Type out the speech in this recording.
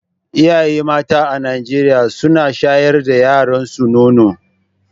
Iyaye mata a Najeriya suna shayar da yaranso nono.